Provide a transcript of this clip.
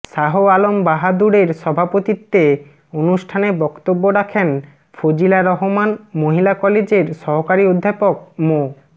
শাহ আলম বাহাদুরের সভাপতিত্বে অনুষ্ঠানে বক্তব্য রাখেন ফজিলা রহমান মহিলা কলেজের সহকারী অধ্যাপক মো